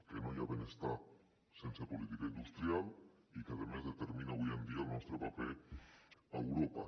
que no hi ha benestar sense política industrial i que a més determina avui dia el nostre paper a europa